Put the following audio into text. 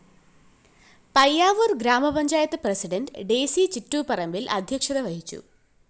പയ്യാവൂര്‍ ഗ്രാമപഞ്ചായത്ത് president Daisy Chittupparambil‍ അധ്യക്ഷത വഹിച്ചു